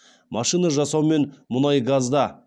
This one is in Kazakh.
машина жасау мен мұнай газда